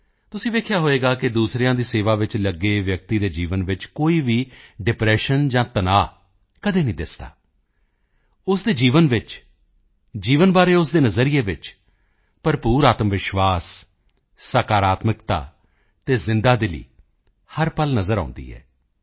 ਤੁਸੀਂ ਦੇਖਿਆ ਹੋਵੇਗਾ ਕਿ ਦੂਸਰਿਆਂ ਦੀ ਸੇਵਾ ਵਿੱਚ ਲੱਗੇ ਵਿਅਕਤੀ ਦੇ ਜੀਵਨ ਵਿੱਚ ਕੋਈ ਵੀ ਡਿਪ੍ਰੈਸ਼ਨ ਜਾਂ ਤਣਾਅ ਕਦੇ ਨਹੀਂ ਦਿਖਦਾ ਉਸ ਦੇ ਜੀਵਨ ਵਿੱਚ ਜੀਵਨ ਨੂੰ ਲੈ ਕੇ ਉਸ ਦੇ ਨਜ਼ਰੀਏ ਵਿੱਚ ਭਰਪੂਰ ਆਤਮਵਿਸ਼ਵਾਸ ਸਕਾਰਾਤਮਕਤਾ ਅਤੇ ਜਿੰਦਾ ਦਿਲੀ ਜੀਵੰਤਤਾ ਹਰ ਪਲ ਨਜ਼ਰ ਆਉਂਦੀ ਹੈ